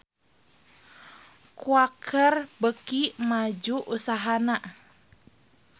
Quaker beuki maju usahana